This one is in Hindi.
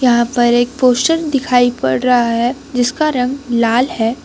यहां पर एक पोस्टर दिखाई पड़ रहा है जिसका रंग लाल है।